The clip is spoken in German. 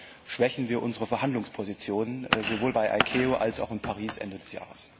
Vor allem schwächen wir unsere Verhandlungspositionen sowohl bei ICAO als auch in Paris Ende des Jahres.